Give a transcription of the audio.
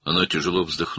O ağır ah çəkdi.